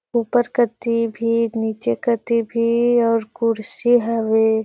ऊपर कती भी नीचे कती भी और कुर्सी हवे।